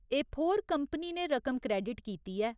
एफोर company ने रकम credit कीती ऐ।